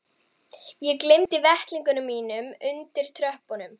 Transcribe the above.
Ég gleymdi vettlingunum mínum undir tröppunum.